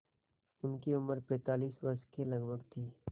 उनकी उम्र पैंतालीस वर्ष के लगभग थी